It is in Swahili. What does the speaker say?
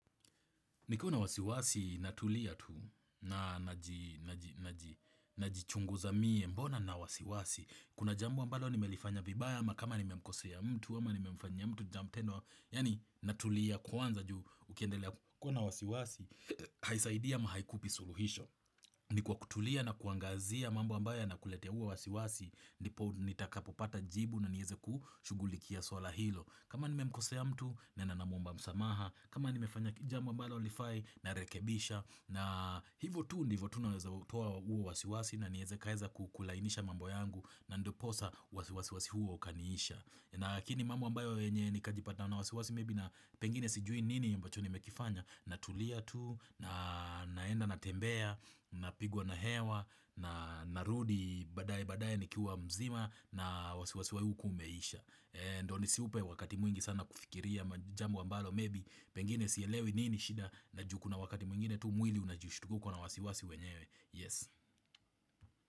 Nikuna wasiwasi natulia tu na najichungu za mie mbona na wasiwasi. Kuna jambu ambalo ni nimelifanya vibaya ama kama ni nimemkosea mtu ama ni memfanya mtu jam tendo. Yani natulia kwanza ju ukiendelea kuna wasiwasi, haisaidia ama haikupi suluhisho. Ni kwa kutulia na kuangazia mambo ambayo yakuleteua wasiwasi, nipo nitakapopata jibu na niweze kushugulikia swala hilo. Kama nimekosea hamtu, nena na mwamba msamaha, kama ni nimefsnya kijambo ambalo lifai na rekebisha na hivo tu ndivo tu naweza hutoa uo wasiwasi na nieze kaeza kukulainisha mambo yangu na ndiposa wasiwasi huo ukaniisha nakini mambo ambayo enye ni kajipata na wasiwasi maybe na pengine sijui nini yombacho ni mekifanya na tulia tu, naenda na tembea, na pigwa na hewa, na narudi badaye badaye nikiwa mzima na wasiwasi huu kumeisha Ndio siupe wakati mwingi sana kufikiria Majambo ambalo maybe Pengine siyelewi nini shida Naju kuna wakati mwingine tu mwili unajushtuka kona wasiwasi wenyewe Yes.